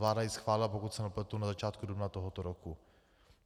Vláda ji schválila, pokud se nepletu, na začátku dubna tohoto roku.